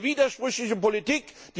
Das ist eine widersprüchliche Politik.